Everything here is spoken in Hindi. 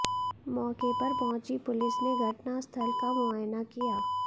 मौके पर पहुंची पुलिस ने घटनास्थल का मुआयना किया